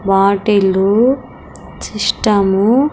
bottle system --